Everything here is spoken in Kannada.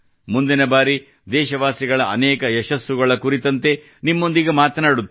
ಮುಂದಿನ ಬಾರಿ ದೇಶವಾಸಿಗಳ ಅನೇಕ ಯಶಸ್ಸುಗಳ ಕುರಿತಂತೆ ನಿಮ್ಮೊಂದಿಗೆ ಮಾತನಾಡುತ್ತೇನೆ